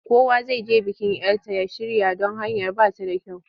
Kowa zai je bikin 'yar ta ya shirya don hanyar ba ta da kyau.